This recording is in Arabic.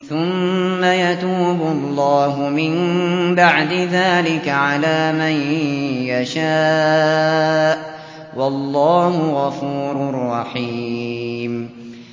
ثُمَّ يَتُوبُ اللَّهُ مِن بَعْدِ ذَٰلِكَ عَلَىٰ مَن يَشَاءُ ۗ وَاللَّهُ غَفُورٌ رَّحِيمٌ